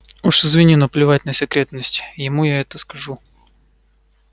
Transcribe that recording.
уж извини но плевать на секретность ему я это скажу